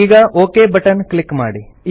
ಈಗ okay button click ಮಾಡಿ